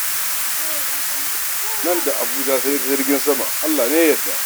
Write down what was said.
Nan da Abuja sai dai ta jirgin sama: Allah ne ya yarda.